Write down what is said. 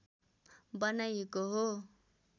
बनाइएको हो